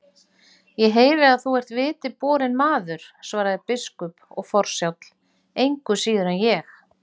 Ég heyri að þú ert viti borinn maður, svaraði biskup,-og forsjáll, engu síður en ég.